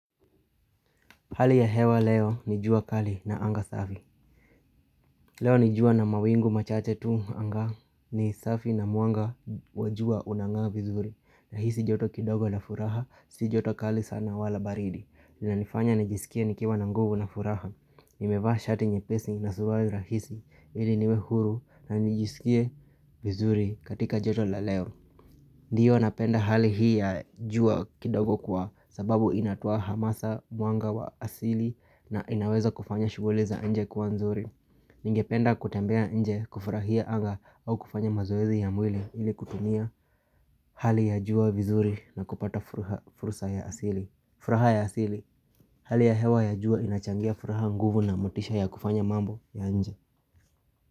Hali ya hewa leo ni jua kali na anga safi. Leo ni jua na mawingu machache tu anga ni safi na mwanga wa jua unangaa vizuri. Nahisi joto kidogo na furaha, si joto kali sana wala baridi. Inanifanya nijisikie nikiwa na nguvu na furaha. Nimevaa shati nyepesi na suruali rahisi ili niwe huru na nijisikie vizuri katika joto la leo. Ndiyo napenda hali hii ya jua kidogo kwa sababu inatoa hamasa mwanga wa asili na inaweza kufanya shughuli za nje kuwa nzuri Ningependa kutembea nje kufurahia anga au kufanya mazoezi ya mwili ili kutumia hali ya jua vizuri na kupata furha furusa ya asili furaha ya asili Hali ya hewa ya jua inachangia furaha, nguvu na motisha ya kufanya mambo ya nje.